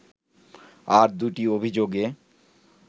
আর দুটি অভিযোগে